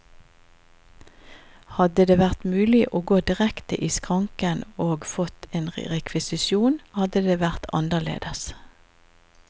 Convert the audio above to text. Hadde det vært mulig å gå direkte i skranken og fått en rekvisisjon, hadde det vært annerledes.